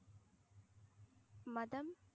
மதம்?